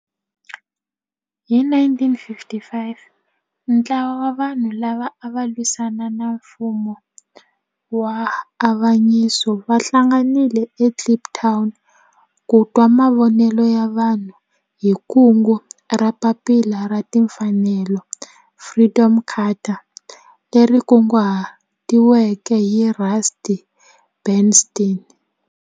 Hi 1955 ntlawa wa vanhu lava ava lwisana na nfumo wa avanyiso va hlanganile eKliptown ku twa mavonelo ya vanhu hi kungu ra Papila ra Tinfanelo, Freedom Charter leri kunguhatiweke hi Rusty Bernstein.